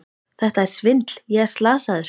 Þetta er svindl, ég er slasaður!